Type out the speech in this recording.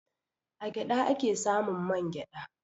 A gyaɗa a ke samun man gyaɗa.